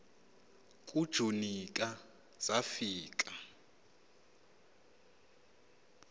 kujuni ka zafika